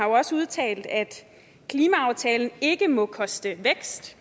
også udtalt at klimaaftalen ikke må koste vækst